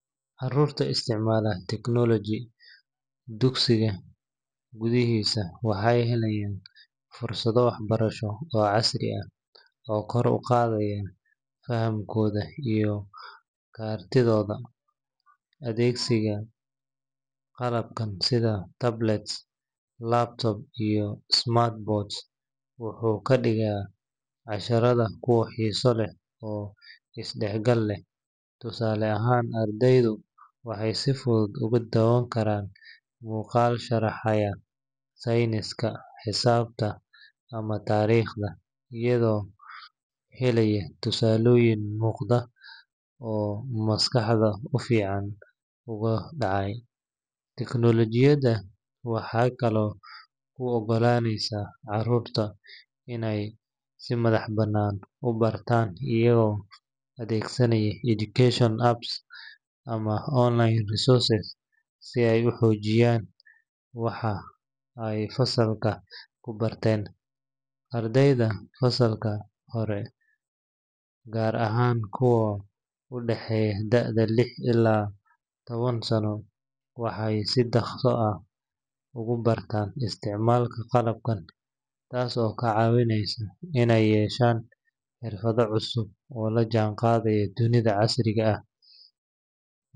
Carruurta isticmaasha technology dugsiga gudihiisa waxay helayaan fursado waxbarasho oo casri ah oo kor u qaadaya fahamkooda iyo kartidooda. Adeegsiga qalabka sida tablets, laptops, iyo smart boards wuxuu ka dhigaa casharada kuwo xiiso leh oo is-dhexgal leh. Tusaale ahaan, ardaydu waxay si fudud ugu daawan karaan muuqaal sharaxaya sayniska, xisaabta, ama taariikhda, iyagoo helaya tusaalooyin muuqda oo maskaxda si fiican ugu dhacaya. Teknoolajiyadda waxay kaloo u oggolaaneysaa carruurta inay si madax-bannaan u bartaan, iyagoo adeegsanaya educational apps ama online resources si ay u xoojiyaan waxa ay fasalka ku barteen. Ardayda fasallada hore, gaar ahaan kuwa u dhaxeeya da'da lix ilaa toban sano, waxay si dhakhso ah ugu bartaan isticmaalka qalabkan, taas oo ka caawisa inay yeeshaan xirfado cusub oo la jaanqaadaya dunida casriga ah.